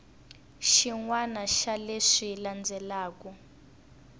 xin wana xa leswi landzelaka